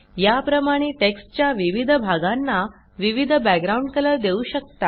या प्रमाणे टेक्स्टच्या विविध भागांना विविध बॅकग्राउंड कलर देऊ शकता